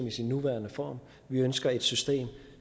i sin nuværende form vi ønsker et system